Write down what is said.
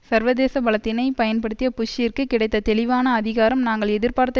சர்வதேச பலத்தினை பயன்படுத்திய புஷ்ஷிற்கு கிடைத்த தெளிவான அதிகாரம் நாங்கள் எதிர்பார்த்த